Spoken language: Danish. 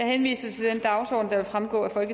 henvises